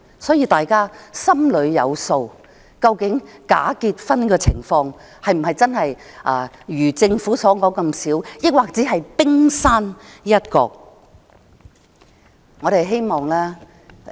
所以，大家心裏有數，究竟假結婚的個案是否真的如政府所說那麼少，還是只是冰山一角。